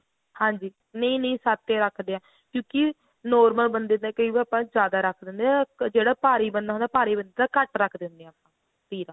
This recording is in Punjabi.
ਹਾਂਜੀ ਨਹੀਂ ਨਹੀਂ ਸੱਤ ਹੀ ਰੱਖਦੇ ਆ ਕਿਉਂਕਿ normal ਬੰਦੇ ਦਾ ਕਈ ਵਾਰ ਆਪਾਂ ਜਿਆਦਾ ਰੱਖ ਦਿੰਦੇ ਆ ਜਿਹੜਾ ਭਾਰੀ ਬੰਦਾ ਹੁੰਦਾ ਉਹਦਾ ਘੱਟ ਰੱਖ ਦਿੰਦੇ ਆ ਤੀਰਾ